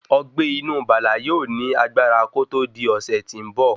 Ọgbé inú Bala yóò ní agbára kòtò di ọ̀sè tí ń bọ̀.